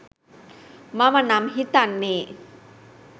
මම නම් හිතන්නේ